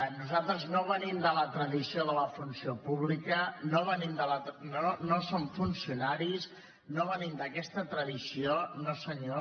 nosaltres no venim de la tradició de la funció pública no som funcionaris no venim d’aquesta tradició no senyor